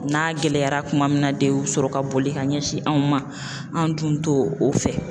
N'a gɛlɛyara kuma min na de u bi sɔrɔ ka boli ka ɲɛsin anw ma an dun to o fɛ.